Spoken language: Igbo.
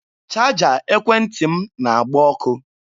Chaja ekwentị m na-agba ọkụ.